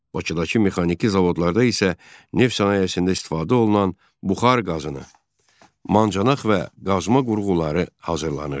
Bakıdakı mexaniki zavodlarda isə neft sənayesində istifadə olunan buxar qazını, mancanaq və qazma qurğuları hazırlanırdı.